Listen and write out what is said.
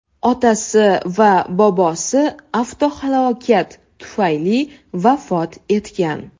Otasi va bobosi avtohalokat tufayli vafot etgan.